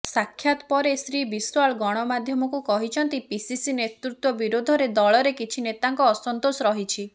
ସାକ୍ଷାତ ପରେ ଶ୍ରୀ ବିଶ୍ୱାଳ ଗଣମାଧ୍ୟମକୁ କହିଛନ୍ତି ପିସିସି ନେତୃତ୍ୱ ବିରୋଧରେ ଦଳରେ କିଛି ନେତାଙ୍କ ଅସନ୍ତୋଷ ରହିଛି